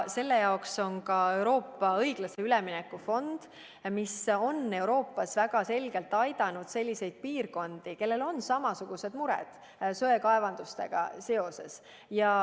Selle jaoks on ka Euroopa õiglase ülemineku fond, mis on Euroopas väga selgelt aidanud selliseid piirkondi, kellel on samasugused mured söekaevandustega seoses.